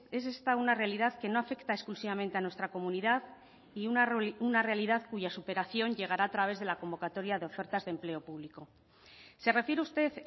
es esta una realidad que no afecta exclusivamente a nuestra comunidad y una realidad cuya superación llegará a través de la convocatoria de ofertas de empleo público se refiere usted